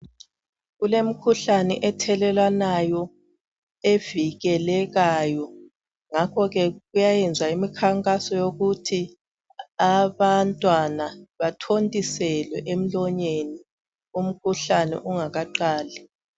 Kulemikhuhlane ethelelwanayo, evikelekayo. Ngakho ke kuyenziwa umkhankaso wokuthi abantwana, bathontiselwe emlonyeni, umkhuhlane ungakaqali.